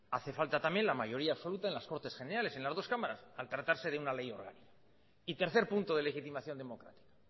hace falta también la mayoría absoluta en las cortes generales en las dos cámaras al tratarse de una ley orgánica y tercer punto de legitimación democrática